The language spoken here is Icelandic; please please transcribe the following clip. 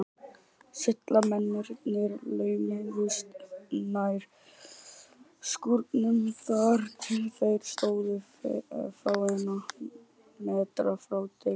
Seglamennirnir laumuðust nær skúrnum, þar til þeir stóðu fáeina metra frá dyrunum.